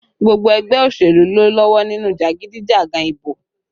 Gbogbo ẹgbẹ́ òṣèlú ló lọ́wọ́ nínú jagidijagan ìbò